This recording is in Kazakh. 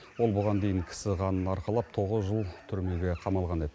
ол бұған дейін кісі қанын арқалап тоғыз жыл түрмеге қамалған еді